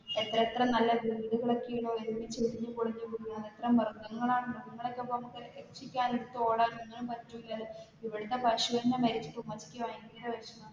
എത്രത്ര നല്ല വീടുകളൊക്കെയാ ഒരുമിച്ച് ഇടിഞ്ഞ്, പൊളിഞ്ഞു വീണത്. എത്ര മൃഗങ്ങളാണെന്നോ ഇതുങ്ങളെ ഒക്കെ നമ്മക്ക് രക്ഷിക്കാതെ എടുത്ത് ഓടാന് പറ്റുല്ലല്ലോ ഇവടെ പശു മരിച്ചിട്ട് ഉമ്മച്ചിക്ക് ഭയങ്കരവിഷമം.